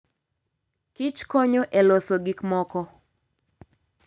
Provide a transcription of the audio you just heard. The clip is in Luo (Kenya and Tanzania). Kich konyo e loso gik moko.